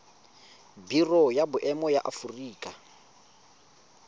biro ya boemo ya aforika